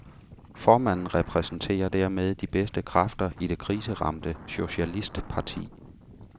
Formanden repræsenterer dermed de bedste kræfter i det kriseramte socialistparti.